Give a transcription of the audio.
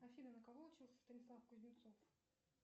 афина на кого учился станислав кузнецов